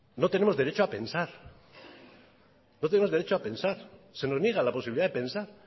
no tenemos derecho a pensar no tenemos derecho a pensar se nos niega la posibilidad de pensar